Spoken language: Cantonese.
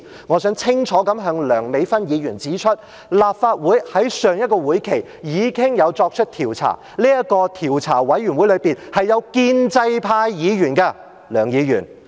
我想清楚向梁美芬議員指出，立法會在上一個會期已經作出調查，而這個調查委員會中，也有建制派議員在席的。